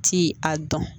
Ti a dɔn